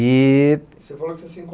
E... Você falou que você se